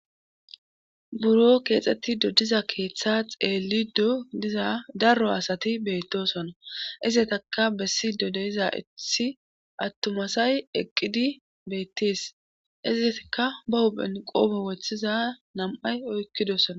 buro keexettido diza keeththa xeeli do diza darro asati beettosona izetaka bessi dodeiza ithi attumasay eqqidi bettis izitka ba huphen qoobo wochthiza nam7ay oykkidosona